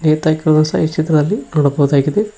ನೇತಾಕಿರೋದು ಸಹ ಈ ಚಿತ್ರದಲ್ಲಿ ನೋಡಬವುದಾಗಿದೆ.